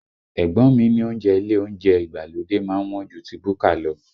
Ẹ̀gbọ́n mi ní oúnjẹ ile oúnjẹ ìgbàlódé má ń wọ́n ju ti búkà lọ